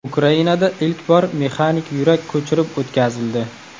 Ukrainada ilk bor mexanik yurak ko‘chirib o‘tkazildi.